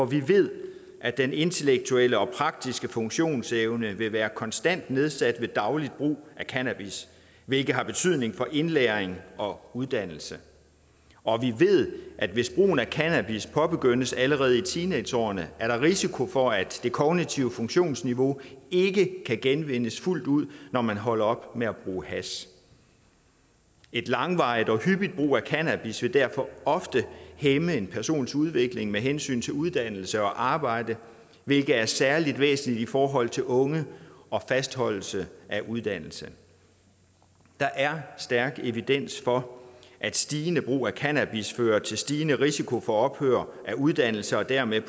vi ved at den intellektuelle og praktiske funktionsevne vil være konstant nedsat ved daglig brug af cannabis hvilket har betydning for indlæring og uddannelse og vi ved at hvis brugen af cannabis påbegyndes allerede i teenageårene er der risiko for at det kognitive funktionsniveau ikke kan genvindes fuldt ud når man holder op med at bruge hash en langvarig og hyppig brug af cannabis vil derfor ofte hæmme en persons udvikling med hensyn til uddannelse og arbejde hvilket er særlig væsentligt i forhold til unge og fastholdelse af uddannelse der er stærk evidens for at stigende brug af cannabis fører til stigende risiko for ophør af uddannelse og dermed